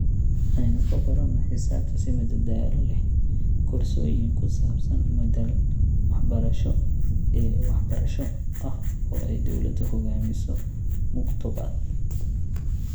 Aynu ku baranno xisaabta si madadaalo leh) koorsooyin ku saabsan madal-waxbarasho e-waxbarasho ah oo ay dowladdu hoggaamiso Muktopaath.